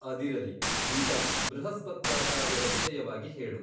ಅದಿರಲಿ ಈಗ ಬೃಹಸ್ಪತ್ಯಾಚಾರ್ಯರ ವಿಷಯವಾಗಿ ಹೇಳು.